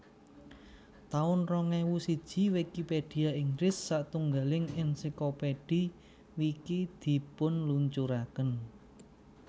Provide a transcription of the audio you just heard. taun rong ewu siji Wikipedia Inggris satunggiling ensiklopedhi Wiki dipunluncuraken